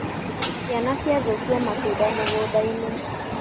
Ciana ciathũkia matunda mũgũndainĩ.